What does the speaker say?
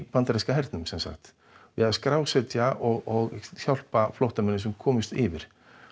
bandaríska hernum við að skrásetja og hjálpa flóttamönnum sem komast yfir